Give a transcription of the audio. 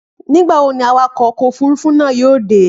Nígbà wo ni awakọ̀ ọkọ̀ òfúrufú náà yóò dé?